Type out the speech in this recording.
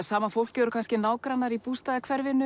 sama fólkið er kannski nágrannar í